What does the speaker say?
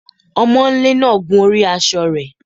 Ọmọńlé náà gun orí aṣọ rẹ̀